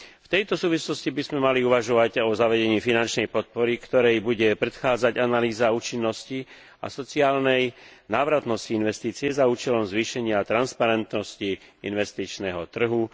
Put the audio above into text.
V tejto súvislosti by sme mali uvažovať o zavedení finančnej podpory, ktorej bude predchádzať analýza účinnosti a sociálnej návratnosti investície za účelom zvýšenia a transparentnosti investičného trhu.